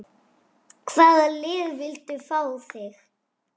Hvaða lið vildu fá þig?